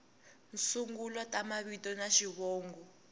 sungula ta mavito na xivongo